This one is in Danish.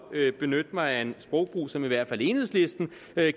at benytte mig af en sprogbrug som i hvert fald enhedslisten